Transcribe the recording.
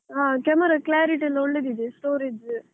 ಹಾ camera clarity ಎಲ್ಲ ಒಳ್ಳೆದಿದೆ, storage .